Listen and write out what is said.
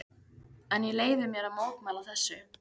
En ég leyfi mér að mótmæla þessu.